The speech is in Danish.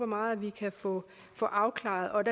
meget at vi kan få få afklaret